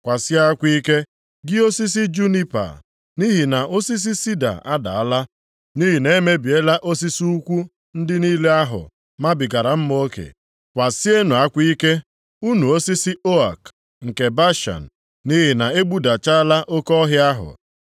Kwasie akwa ike, gị osisi junipa, nʼihi na osisi sida adaala, nʼihi na e mebiela osisi ukwu ndị niile ahụ mabigara mma oke. Kwasienụ akwa ike, unu osisi ook nke Bashan, nʼihi na e gbudachala oke ọhịa ahụ!